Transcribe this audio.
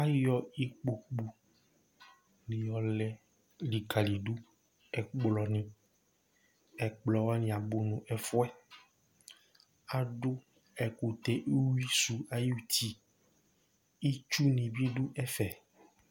ayɔ ikpoku ni ɔlɛ likali do ɛkplɔ ni ɛkplɔ wani abò n'ɛfu yɛ adu ɛkutɛ uwi sò ayi uti itsu ni bi do ɛfɛ